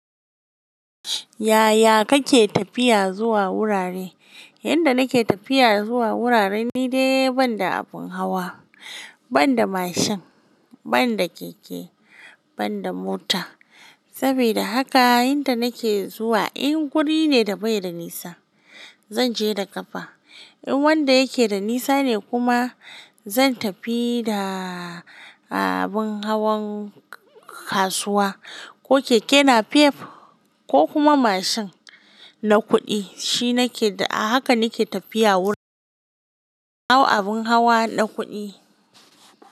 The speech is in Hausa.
Yaya kake tafiya zuwa wurare? Yanda nake tafiya zuwa wurare ni dai ban da abin hawa, ban da mashin, ban da keke, ban da mota. Saboda haka yanda nake zuwa in guri ne da bai da nisa, zan je da ƙafa. In wanda yake da nisa ne kuma zan tafi da abin hawan kasuwa ko keke napep ko kuma mashin na kuɗi. Shi nake, a haka nake tafiya wurare, na hau abin hawa na kuɗi.